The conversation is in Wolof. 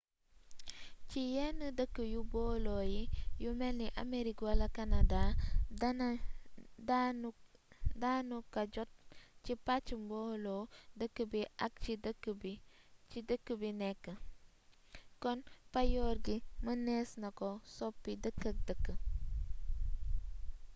ci yenn dëkk yi bolo yi yu melni amerig wala kanadaa juuti danu ka jot ci pàcc mboolo dëkk bi ak ci dëkk b nekk kon paayoor gi mënees na ko soppi dëkk ak dëkk